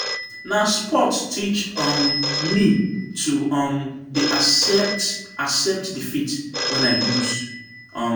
Na sports teach um me to um dey accept accept defeat wen I loose. um